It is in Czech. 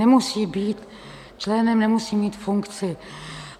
Nemusí být členem, nemusí mít funkci.